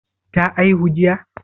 Ta aihu jiya?